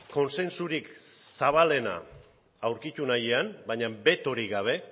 kontsensurik zabalena aurkitu nahian baina betorik gabe